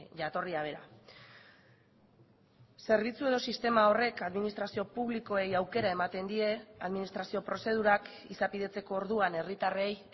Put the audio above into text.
jatorria bera zerbitzu edo sistema horrek administrazio publikoei aukera ematen die administrazio prozedurak izapidetzeko orduan herritarrei